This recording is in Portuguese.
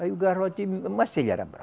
Aí o garrote, mas ele era bra